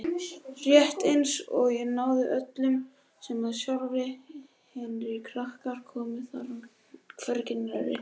Rétt einsog ég ráði öllu um það sjálf en hinir krakkarnir komi þar hvergi nærri.